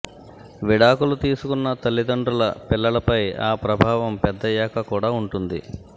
విడాకులు తీసుకున్న తల్లిదండ్రుల పిల్లల పై ఆ ప్రభావం పెద్దయ్యాక కూడా ఉంటుంది